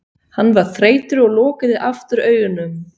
Hann var þreyttur og lokaði aftur augunum.